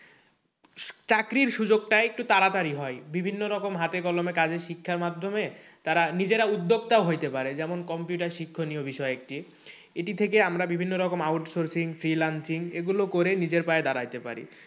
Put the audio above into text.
চাকরির সুযোগ টা একটু তাড়াতাড়ি হয় বিভিন্ন রকম হাতেকলমে কাজের শিক্ষার মাধ্যমে তারা নিজেরা উদ্যোক্তা হইতে পারে যেমন computer শিক্ষণীয় বিষয় একটি এটি থেকে আমরা বিভিন্ন রকম outsourcing এগুলো করে নিজের পায়ে দাড়াইতে পারি।